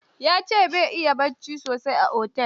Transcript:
Ya ce ba ya iya bacci sosai a otel.